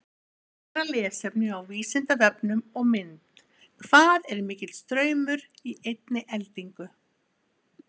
Frekara lesefni á Vísindavefnum og mynd Hvað er mikill straumur í einni eldingu?